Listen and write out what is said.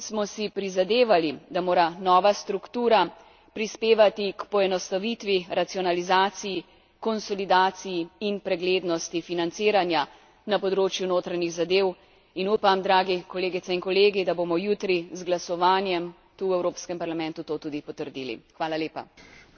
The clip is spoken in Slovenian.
Vseskozi smo si prizadevali, da mora nova struktura prispevati k poenostavitvi, racionalizaciji, konsolidaciji in preglednosti financiranja na področju notranjih zadev, in upam, dragi kolegice in kolegi, da bomo jutri z glasovanjem tu v Evropskem parlamentu to tudi potrdili.